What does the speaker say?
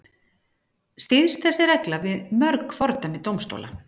Styðst þessi regla við mörg fordæmi dómstóla.